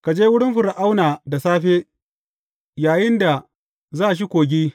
Ka je wurin Fir’auna da safe, yayinda za shi kogi.